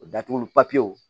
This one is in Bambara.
O datuguli